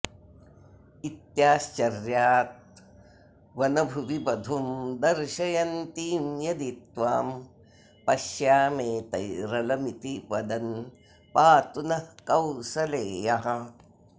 इत्याश्चर्याद्वनभुवि वधूं दर्शयन्तीं यदि त्वां पश्याम्येतैरलमिति वदन् पातु नः कौसलेयः